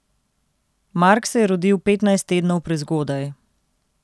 Mark se je rodil petnajst tednov prezgodaj.